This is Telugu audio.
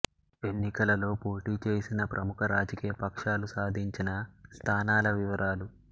ఎన్నికలలో పోటీ చేసిన ప్రముఖ రాజకీయ పక్షాలు సాధించిన స్థానాల వివరాలు